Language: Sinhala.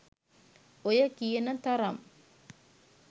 ඔය කියන තරම්